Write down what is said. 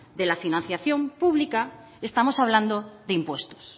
de la financiación pública estamos hablando de impuestos